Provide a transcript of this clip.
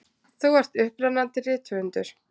Þú ert upprennandi rithöfundur.